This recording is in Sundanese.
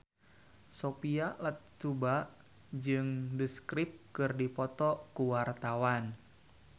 Sophia Latjuba jeung The Script keur dipoto ku wartawan